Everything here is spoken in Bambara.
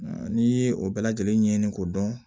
N'i ye o bɛɛ lajɛlen ɲɛɲini k'o dɔn